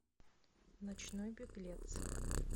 ночной беглец